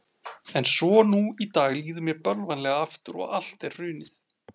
En svo nú í dag líður mér bölvanlega aftur og allt er hrunið.